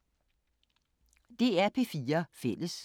DR P4 Fælles